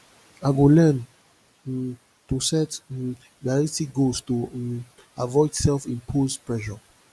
i go learn um to set um realistic goals to um avoid self imposed pressure